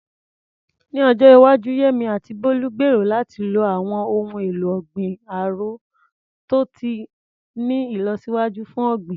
Ní ọjọ́ iwájú, Yemí àti Bólú gbèrò láti lo àwọn ohun èlò ọ̀gbìn árò tó ti ní ìlọsíwájú fún ọ̀gbìn.